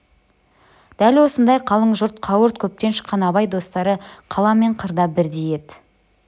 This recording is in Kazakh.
дәл осындай қалың жұрт қауырт көптен шыққан абай достары қала мен қырда бірдей еді